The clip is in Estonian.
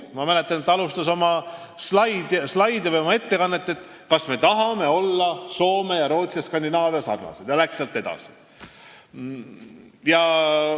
Ma mäletan, et ta alustas oma ettekannet küsimusest, kas me tahame sarnaneda Soome ja Rootsi ja üldse Skandinaaviaga, ning läks sealt edasi.